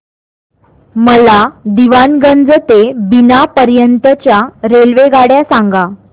मला दीवाणगंज ते बिना पर्यंत च्या रेल्वेगाड्या सांगा